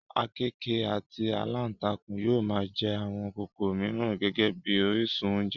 àkekèé àti alántakùn yóò máa jẹ àwọn kòkòrò mìíràn gẹ́gẹ́ bí orísun oúnjẹ